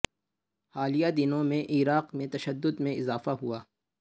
حالیہ دنوں میں عراق میں تشدد میں اضافہ ہوا ہے